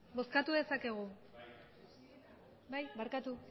bozkatu dezakegu barkatu